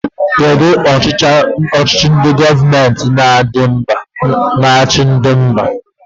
Kedụ ọchịchị gọọmenti n'achi mba gị?